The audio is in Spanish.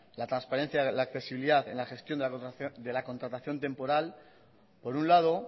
la transparencia en la accesibilidad en la gestión de la contratación temporal por un lado